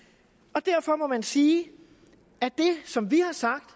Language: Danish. og derfor må man sige at det som vi har sagt